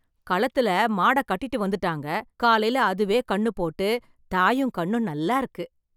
களத்துல மாட கட்டிட்டு வந்துட்டாங்க, காலைல அதுவே கண்ணு போட்டு தாயும் கண்ணும் நல்லா இருக்கு.